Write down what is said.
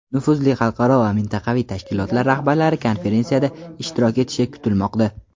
nufuzli xalqaro va mintaqaviy tashkilotlar rahbarlari konferensiyada ishtirok etishi kutilmoqda.